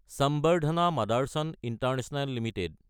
সম্বৰ্ধনা মদাৰচন international Ltd